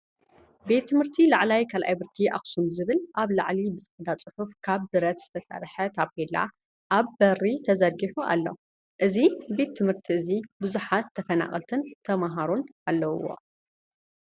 ቤት ትምህርቲ ላዕለዋይ 2ይ ብርኪ ኣኽሱም ዝብል ኣብ ላዕሊ ብፃዕዳ ፅሑፍ ካብ ብረት ዝተሰርሐ ታፔላ ኣብ በሪ ተዘርጊሑ ኣሎ። እዚ ቤት ትምህርቲ እዚ ብዙሓት ተፈናቀልትን ተማሃሮን ኣለውዎ።